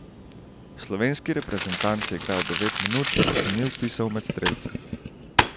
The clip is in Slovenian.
Slovenski reprezentant je igral devet minut, a se ni vpisal med strelce.